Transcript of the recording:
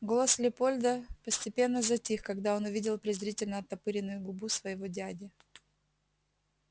голос лепольда постепенно затих когда он увидел презрительно оттопыренную губу своего дяди